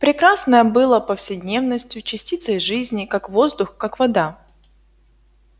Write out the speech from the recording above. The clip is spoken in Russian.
прекрасное было повседневностью частицей жизни как воздух как вода